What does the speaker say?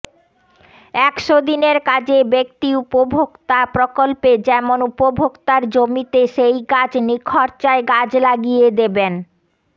একশো দিনের কাজে ব্যক্তি উপভোক্তা প্রকল্পে যেমন উপভোক্তার জমিতে সেই গাছ নিখরচায় গাছ লাগিয়ে দেবেন